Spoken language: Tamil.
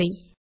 நன்றி